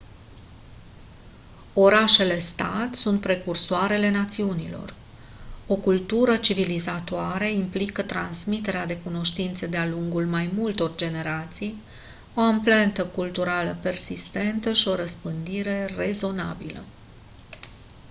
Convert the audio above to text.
orașele stat sunt precursoarele națiunilor o cultură civilizatoare implică transmiterea de cunoștințe de-a lungul mai multor generații o amprentă culturală persistentă și o răspândire rezonabilă